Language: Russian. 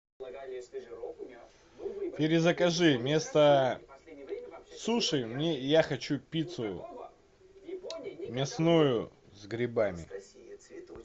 перезакажи вместо суши мне я хочу пиццу мясную с грибами